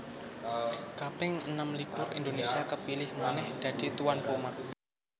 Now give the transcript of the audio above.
kaping enem likur Indonésia kepilih manèh dadi tuan rumah